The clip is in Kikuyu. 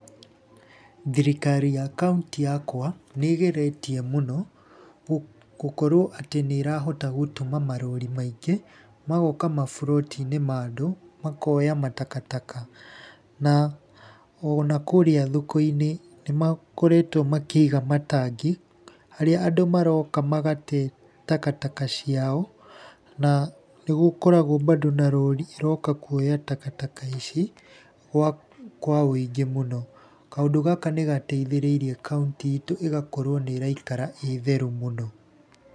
Thirikari ya kaũntĩ yakwa nĩ ĩgeretie mũno gũkorwo atĩ nĩ ĩrahota gũtũma marori maingĩ magoka maburoti-inĩ ma andũ, makoya matakataka. Na ona kũrĩa thoko-inĩ nĩ makoretwo makĩiga matangi harĩa andũ maroka magate takataka ciao, na nĩ gũkoragwo bado na rori iroka kuoya takataka ici kwa wũingĩ mũno. Kaũndũ gaka nĩ gateithĩrĩirie kaũntĩ itũ ĩgakorwo nĩ ĩraikara ĩ theru mũno.